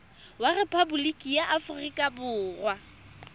wa rephaboliki ya aforika borwa